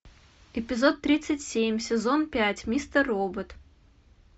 эпизод тридцать семь сезон пять мистер робот